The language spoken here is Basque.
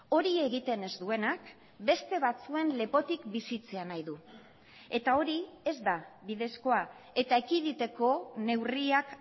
hori egiten ez duenak beste batzuen lepotik bizitzea nahi du eta hori ez da bidezkoa eta ekiditeko neurriak